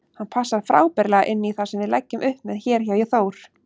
Hann passar frábærlega inní það sem við leggjum upp með hér hjá Þór.